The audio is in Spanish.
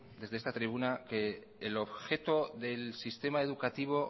desde esta tribuna que el objeto del sistema educativo